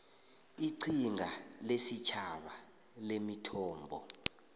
iqhinga lesitjhaba lemithombo